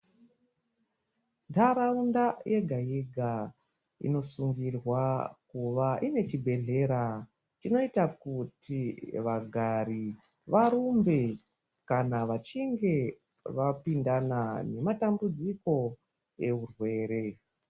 Ntaraunda yega-yega inosungirwa kuva ine chibhedhlera. Chinoita kuti vagari varumbe kana vachinge vapindana nematambudziko ehurwere.